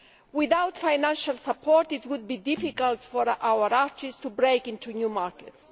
Without financial support it would be difficult for our artists to break into new markets.